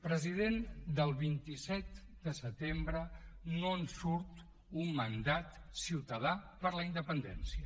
president del vint set de setembre no en surt un mandat ciutadà per a la independència